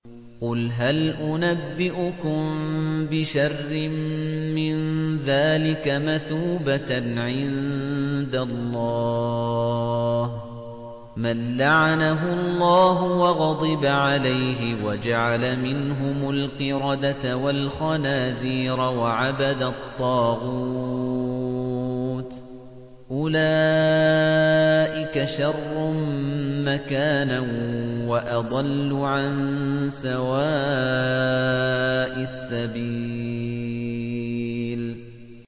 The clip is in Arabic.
قُلْ هَلْ أُنَبِّئُكُم بِشَرٍّ مِّن ذَٰلِكَ مَثُوبَةً عِندَ اللَّهِ ۚ مَن لَّعَنَهُ اللَّهُ وَغَضِبَ عَلَيْهِ وَجَعَلَ مِنْهُمُ الْقِرَدَةَ وَالْخَنَازِيرَ وَعَبَدَ الطَّاغُوتَ ۚ أُولَٰئِكَ شَرٌّ مَّكَانًا وَأَضَلُّ عَن سَوَاءِ السَّبِيلِ